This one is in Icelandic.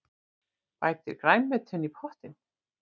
Bætið grænmetinu í pottinn.